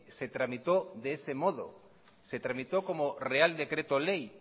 se tramitó de ese modo se tramitó como real decreto ley